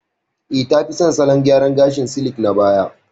Eh, ta fi son salon gyaran gashin silik na baya.